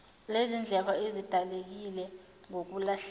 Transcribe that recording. lezindleko ezidaleka ngokulahleka